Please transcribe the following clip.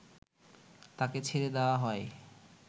তাকে ছেড়ে দেওয়া হয়